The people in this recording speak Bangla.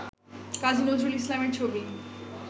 কাজী নজরুল ইসলামের ছবি